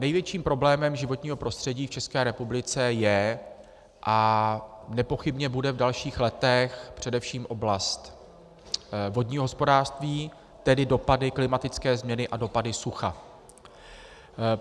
Největším problémem životního prostředí v České republice je a nepochybně bude v dalších letech především oblast vodního hospodářství, tedy dopady, klimatické změny a dopady sucha.